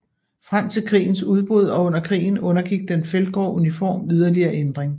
Frem til krigens udbrud og under krigen undergik den feltgrå uniform yderligere ændringer